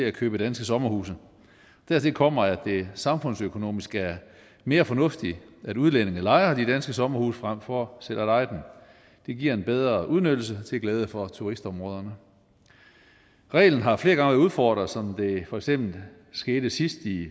at købe danske sommerhuse dertil kommer at det samfundsøkonomisk er mere fornuftigt at udlændinge lejer de danske sommerhuse frem for selv at eje dem det giver en bedre udnyttelse til glæde for turistområderne reglen har flere gange været udfordret som det for eksempel skete sidst i